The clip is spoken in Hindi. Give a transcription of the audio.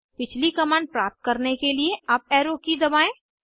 पिछली कमांड प्राप्त करने के लिए अप एरो की दबाएं